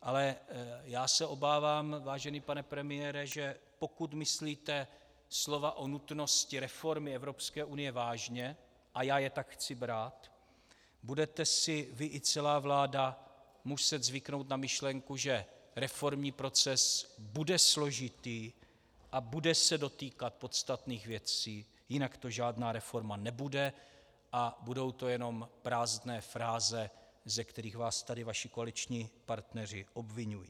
Ale já se obávám, vážený pane premiére, že pokud myslíte slova o nutnosti reformy Evropské unie vážně, a já je tak chci brát, budete si vy i celá vláda muset zvyknout na myšlenku, že reformní proces bude složitý a bude se dotýkat podstatných věcí, jinak to žádná reforma nebude a budou to jenom prázdné fráze, ze kterých vás tady vaši koaliční partneři obviňují.